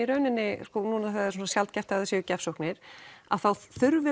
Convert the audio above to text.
núna þegar það er svo sjaldgæft að það séu gjafsóknir að þá þurfi